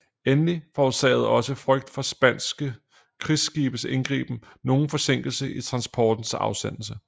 Endelig forårsagede også frygt for spanske krigsskibes indgriben nogen forsinkelse i transportens afsendelse